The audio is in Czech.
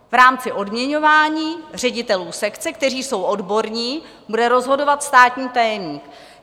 V rámci odměňování ředitelů sekce, kteří jsou odborní, bude rozhodovat státní tajemník.